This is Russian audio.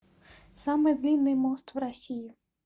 самый длинный мост в россии